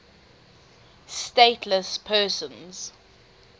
stateless persons